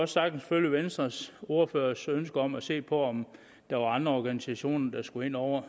sagtens følge venstres ordførers ønske om at se på om der er andre organisationer der skal ind over